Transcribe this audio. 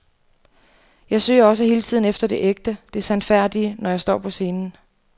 Jeg søger også hele tiden efter det ægte, det sandfærdige, når jeg står på scenen.